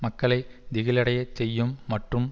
மக்களை திகிலடையச் செய்யும் மற்றும்